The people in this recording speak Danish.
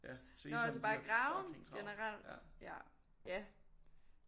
Nå altså bare i Graven generelt ja ja